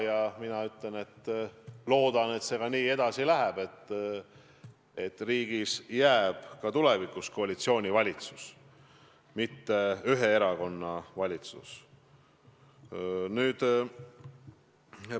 Ja mina loodan, et see nii ka edasi läheb, et riigis on ka tulevikus koalitsioonivalitsused, mitte ühe erakonna valitsused.